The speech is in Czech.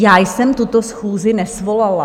Já jsem tuto schůzi nesvolala.